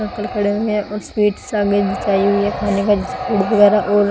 और स्वीट्स आग जचाई हुई हैखाने का फूड वगैरह और।